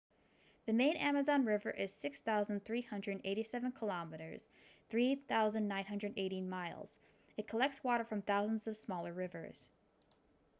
the main amazon river is 6,387 km 3,980 miles. it collects water from thousands of smaller rivers